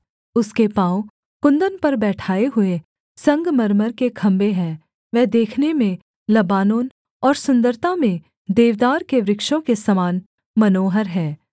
उसके पाँव कुन्दन पर बैठाये हुए संगमरमर के खम्भे हैं वह देखने में लबानोन और सुन्दरता में देवदार के वृक्षों के समान मनोहर है